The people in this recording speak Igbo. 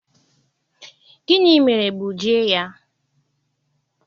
gini mere gbuji ya?